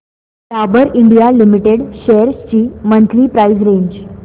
Dabur India limited shares ची monthly price range